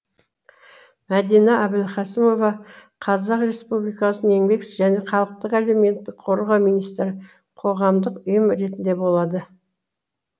мәдина әбілқасымова қр еңбек және халықты әлеуметтік қорғау министрі қоғамдық ұйым ретінде болады